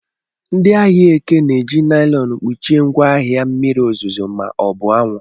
Ndị ahịa Eke na-eji naịlọn kpuchie ngwaahịa mmiri ozuzo ma ọ bụ anwụ.